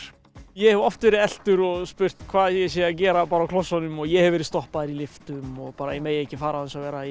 ég hef oft verið eltur og spurt hvað ég sé að gera bara á klossunum og ég hef verið stoppaður í lyftum og bara að ég megi ekki fara án þess að vera